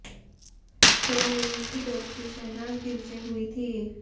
show में उनकी दोस्ती शहनाज गिल से हुई थी